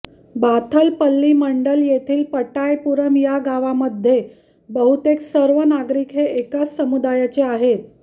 बाथलपल्ली मंडल येथील पटायपुरम या गावामध्ये बहुतेक सर्व नागरिक हे एकाच समुदायाचे आहेत